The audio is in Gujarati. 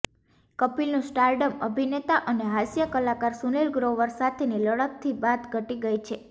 કપિલનું સ્ટારડમ અભિનેતા અને હાસ્ય કલાકાર સુનીલ ગ્રોવર સાથેની લડતથી બાદ ઘટી ગઈ છે